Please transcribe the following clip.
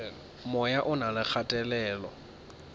moya o na le kgatelelo